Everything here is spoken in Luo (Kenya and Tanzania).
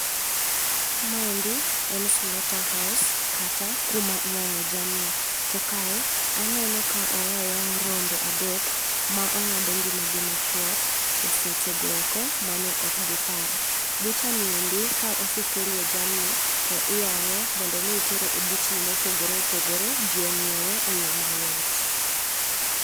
Maendi, en slaughter house kata kuma iyang'e jamni. To kae, aneno ka oya yang' rombe adek ma ong'ad ngima gi machuok e sechego eko mane ok gipar. Bucha ni endi ka osekelie jamni, to iyang'e mondo mi tere e buchni mopogore opogore, ji onyiewe eyo mayot